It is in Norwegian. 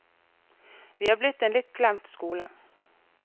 Vi er blitt en litt glemt skole.